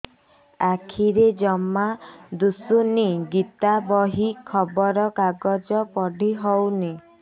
ଆଖିରେ ଜମା ଦୁଶୁନି ଗୀତା ବହି ଖବର କାଗଜ ପଢି ହଉନି